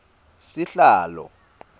sihlalo